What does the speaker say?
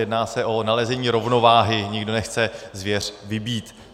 Jedná se o nalezení rovnováhy, nikdo nechce zvěř vybít.